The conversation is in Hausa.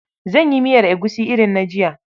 Zan yi miyar egusi irin na jiya.